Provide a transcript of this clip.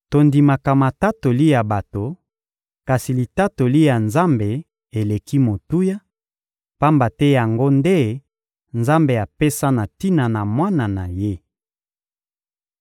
Tondimaka matatoli ya bato, kasi litatoli ya Nzambe eleki motuya, pamba te yango nde Nzambe apesa na tina na Mwana na Ye.